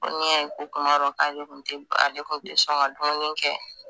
Ko n'i y'a ye ko kuma dɔw k'ale kun te sɔn ka dumini kɛ.